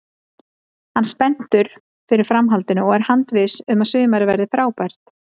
Hann spenntur fyrir framhaldinu og er handviss um að sumarið verði frábært.